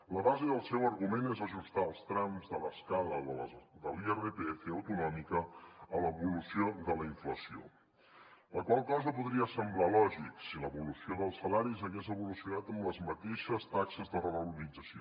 la base del seu argument és ajustar els trams de l’escala de l’irpf autonòmic a l’evolució de la inflació la qual cosa podria semblar lògica si l’evolució dels salaris hagués evolucionat amb les mateixes taxes de revalorització